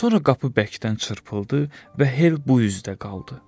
Sonra qapı bərkdən çırpıldı və Hel bu üzdə qaldı.